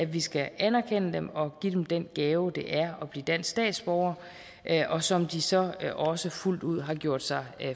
vi skal anerkende dem og give dem den gave det er at blive dansk statsborger og som de så også fuldt ud har gjort sig